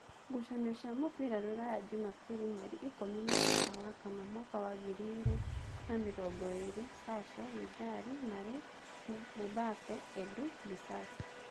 ngucanio cia mũbira Ruraya Jumabiri mweri ikũmi na kenda wa kana mwaka wa ngiri igĩrĩ na mĩrongoĩrĩ: Sasho, Vidali, Marĩ, Mubape, Edu, Bisasi